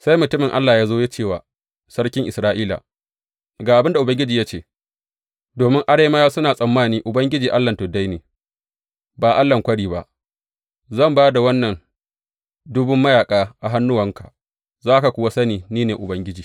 Sai mutumin Allah ya zo ya ce wa sarkin Isra’ila, Ga abin da Ubangiji ya ce, Domin Arameyawa suna tsammani Ubangiji allahn tuddai ne, ba allahn kwari ba, zan ba da wannan ɗumbun mayaƙa a hannuwanka, za ka kuwa sani ni ne Ubangiji.’